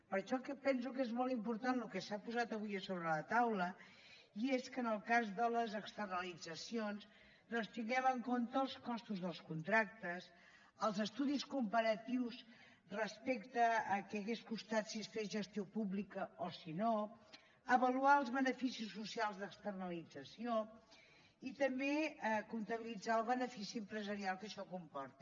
per això penso que és molt important el que s’ha posat avui sobre la taula i és que en el cas de les externalitzacions doncs tinguem en compte els costos dels contractes els estudis comparatius respecte al que hauria passat si s’hagués fet gestió pública o si no avaluar els beneficis socials d’externalització i també compatibilitzar el benefici empresarial que això comporta